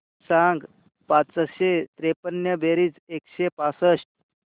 सांग पाचशे त्रेपन्न बेरीज एकशे पासष्ट